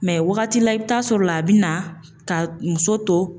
Mɛ wagati la, i bɛ taa sɔrɔ la, a bɛ na ka muso to